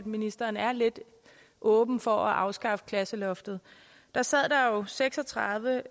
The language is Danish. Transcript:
ministeren er lidt åben for at afskaffe klasseloftet sad seks og tredive